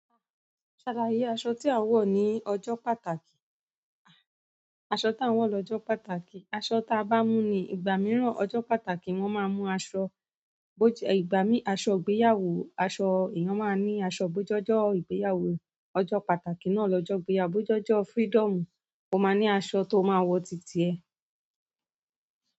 Ṣàlá yé aṣọ tí à ń wọ̀ ní ọjọ́ pàtàkì. Aṣọ tí à ń wọ̀ lọ́jọ́ pàtàkì. Aṣọ ta bá mú ni ìgbà mìíràn, ọjọ́ pàtàkì wọn máa ń mú aṣọ bóje--ìgbà mí aṣọ ìgbéyàwó, aṣọ èèyàn máa ń ní aṣọ bó je ọjọ ìgbéyàwó. Ọjọ́ pàtàkì náà lọ jọ ìgbéyàwó bo je freedom, o máa ní aṣọ tó máa wọ ti tiẹ.